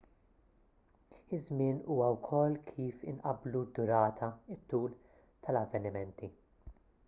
iż-żmien huwa wkoll kif inqabblu d-durata it-tul tal-avvenimenti